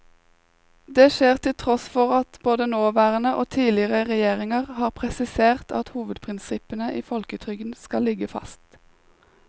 Det skjer til tross for at både nåværende og tidligere regjeringer har presisert at hovedprinsippene i folketrygden skal ligge fast.